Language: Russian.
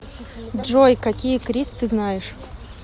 джой какие крис ты знаешь